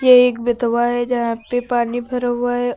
एक बेतवा है जहां पे पानी भरा हुआ है।